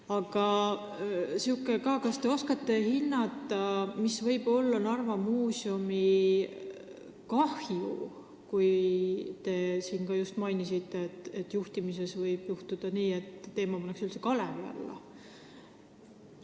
Aga on ka säärane küsimus: kas te oskate hinnata, kui suur võib olla Narva Muuseumi kahju, kui asutuse juhtimise teema pannakse üldse kalevi alla, nagu te ütlesite?